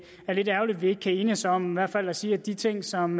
er lidt ærgerligt at vi ikke kan enes om i hvert fald at sige at de ting som